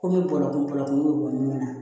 Komi bɔlɔlɔ kun bɔ kun bɛ bɔ min na